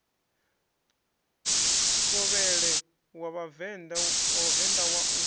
thovhele wa vhavenḓa wa u